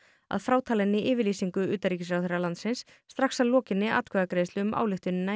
að frátalinni yfirlýsingu utanríkisráðherra landsins strax að lokinni atkvæðagreiðslu um ályktunina í